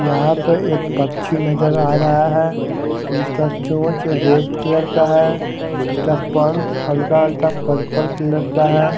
यहा पर एक पक्छी नजर आ रहा है जिसका चोच रेड कलर का है इसका पंख हल्का हल्का पर्पल कलर का है।